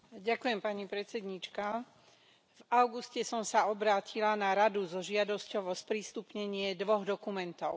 Vážená pani predsedajúca, v auguste som sa obrátila na Radu so žiadosťou o sprístupnenie dvoch dokumentov.